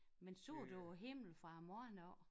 Men så du himmel fra i morgen af?